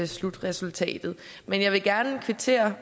slutresultatet men jeg vil gerne kvittere